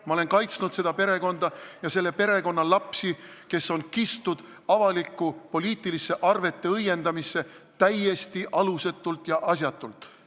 Ma olen kaitsnud seda perekonda ja selle perekonna lapsi, kes on kistud avalikku poliitilisse arveteõiendamisse täiesti alusetult ja asjatult.